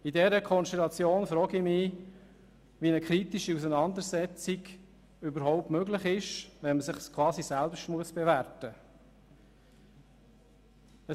Bei dieser Konstellation frage ich mich, wie eine kritische Auseinandersetzung überhaupt möglich ist, wenn man sich quasi selber bewerten muss.